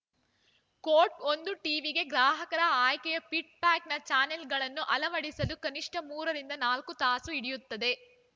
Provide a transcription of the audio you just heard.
coat ಒಂದು ಟಿವಿಗೆ ಗ್ರಾಹಕರ ಆಯ್ಕೆಯ ಫಿಟ್‌ ಪ್ಯಾಕ್‌ನ ಚಾನೆಲ್‌ಗಳನ್ನು ಅಳವಡಿಸಲು ಕನಿಷ್ಠ ಮೂರರಿಂದ ನಾಲ್ಕು ತಾಸು ಹಿಡಿಯುತ್ತದೆ